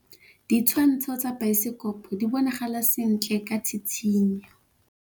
Ditshwantshô tsa biosekopo di bonagala sentle ka tshitshinyô.